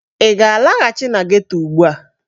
Ị ga-alaghachi na geto ugbu a!